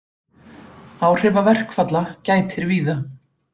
Áhrifa verkfalla gætir víða